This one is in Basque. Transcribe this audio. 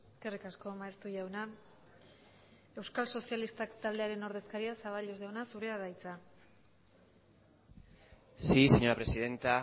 eskerrik asko maeztu jauna euskal sozialistak taldearen ordezkaria zaballos jauna zurea da hitza sí señora presidenta